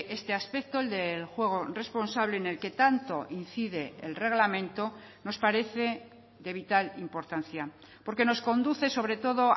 este aspecto el del juego responsable en el que tanto incide el reglamento nos parece de vital importancia porque nos conduce sobre todo